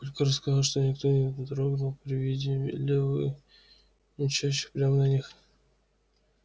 папулька рассказывал что никто не дрогнул при виде лёвы мчащего прямо на них